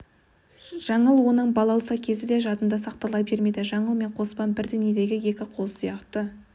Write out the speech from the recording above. жаңыл оның балауса кезі де жадында сақтала бермейді жаңыл мен қоспан бір денедегі екі қол сияқты